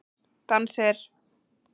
Dans er?